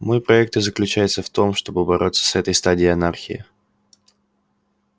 мой проект и заключается в том чтобы бороться с этой стадией анархии